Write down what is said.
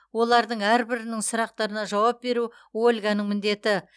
олардың әрбірінің сұрақтарына жауап беру ольганың міндеті